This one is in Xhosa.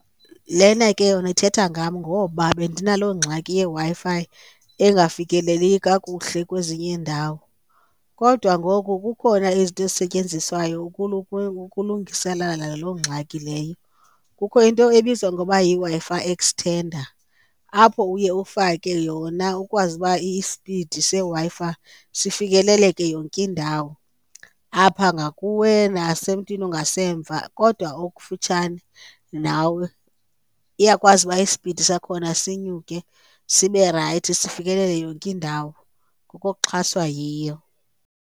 Lena ke yona ithetha ngam ngoba bendinaloo ngxaki yeWi-Fi engafikeleli kakuhle kwezinye iindawo, kodwa ngoku kukhona izinto esisetyenziswayo ukulungiselela loo ngxaki leyo. Kukho into ebizwa ngoba yiWi-Fi extender apho uye ufake yona ukwazi uba i-speed seWi-Fi sifikeleleke yonke indawo apha ngakuwe, nasemntwini ongasemva kodwa okufutshane nawe. Iyakwazi uba i-speed sakhona sinyuke sibe rayithi sifikelele yonke indawo ngokuxhaswa yiyo.